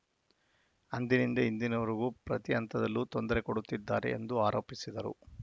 ಅಂದಿನಿಂದ ಇಂದಿನವರೆಗೂ ಪ್ರತಿ ಹಂತದಲ್ಲೂ ತೊಂದರೆ ಕೊಡುತ್ತಿದ್ದಾರೆ ಎಂದು ಆರೋಪಿಸಿದರು